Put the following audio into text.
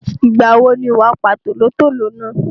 Ìgbà wo ni wàá pa tòlótòló náà?